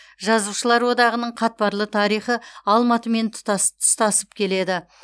жазушылар одағының қатпарлы тарихы алматымен тұстасып келеді